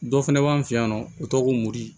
Dɔ fɛnɛ b'an fɛ yan nɔ u tɔgɔ ko mori